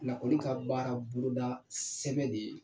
ka baara boloda sɛbɛn de ye.